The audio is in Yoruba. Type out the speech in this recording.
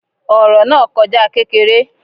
Ọ̀rọ̀ náà kọjá kékeré